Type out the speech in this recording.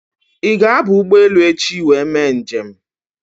Ị ga-aba ụgbọelu echi wee mee nje m?